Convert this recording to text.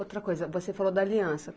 Outra coisa, você falou da aliança.